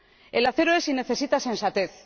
El acero es y necesita sensatez.